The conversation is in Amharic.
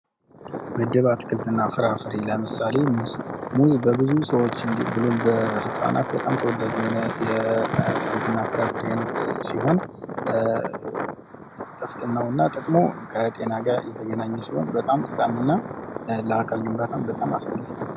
ምድብ አትክልትና ፍራፍሬ ይላል ለምሳሌ ሙዝ:- ሙዝ በብዙ ህጻናቶች ዘንድ ተወዳጅ የሆነ የአትክልትና ፍራፍሬ አይነት ሲሆን ፤ ጥቅሙ ከጤና ጋር የተገናኘ በጣም ጠቃሚና ለአካል ግንባታም በጣም አስፈላጊ ነው።